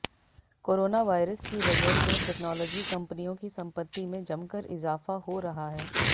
corona virus की वजह से टेक्नोलॉजी कंपनियों की संपत्ति में जमकर इजाफा हो रहा है